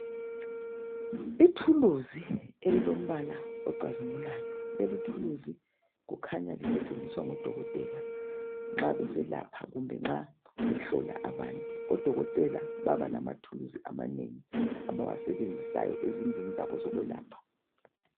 I thuluzi elilombala ocazimulayo likhanya lisetshenziswa ngodokotela nxa besalapha imikhuhlane etshiyeneyo.